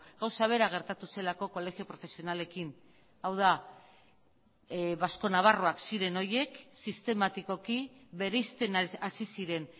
gauza bera gertatu zelako kolegio profesionalekin hau da basco nabarroak ziren horiek sistematikoki bereizten hasi ziren